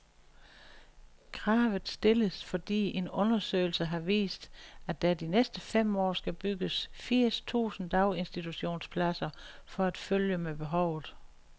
Kravet stilles, fordi en undersøgelse har vist, at der de næste fem år skal bygges firs tusind daginstitutionspladser for at følge med behovet.